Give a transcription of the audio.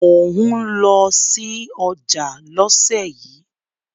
Mò ń lọ sí ọjà lọ́sẹ̀ yìí.